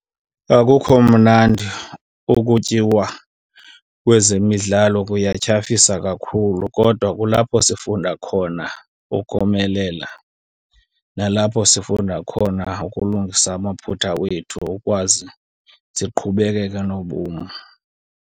Akukho mnandi ukutyiwa kwezemidlalo kuyatyhafisa kakhulu, kodwa kulapho sifunda khona ukomelela nalapho sifunda khona ukulungisa amaphutha wethu ukwazi siqhubekeke nobomi.